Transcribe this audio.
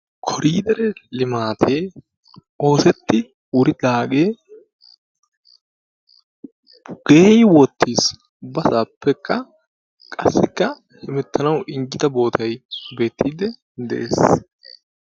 Koriidere limaatee oosettidi wuridaagee geeyyi wottis ubbasaappekka qassikka hemettanawu injjida bootay sugettiidde de'es.